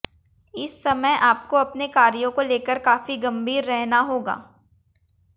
इस समय आपको अपने कार्यों को लेकर काफी गंभीर रहना होगा